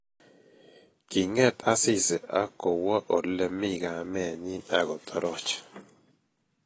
Kinget Asisi akowo ole mi kamenyi akotoroch